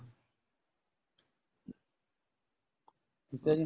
ਠੀਕ ਏ ਜੀ